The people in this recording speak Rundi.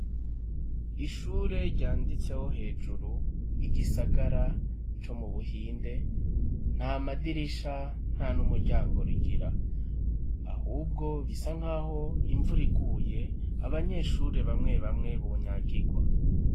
Ishure ryanditseho hejuru igisagara co mu Buhinde, nta madirisha, nta n'umuryango rigira. Ahubwo bisa nk'aho imvura iguye, abanyeshure bamwe bamwe bonyagirwa.